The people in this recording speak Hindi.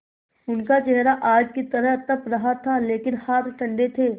उनका चेहरा आग की तरह तप रहा था लेकिन हाथ ठंडे थे